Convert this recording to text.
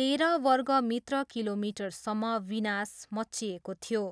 तेह्र वर्ग मित्र किलोमिटरसम्म विनाश मच्चिएको थियो।